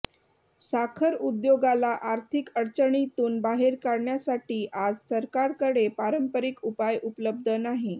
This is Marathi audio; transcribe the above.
साखर उद्योगाला आर्थिक अडचणीतून बाहेर काढण्यासाठी आज सरकारकडे पारंपरिक उपाय उपलब्ध नाही